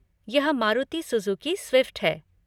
यह Maruti Suzuki Swift है।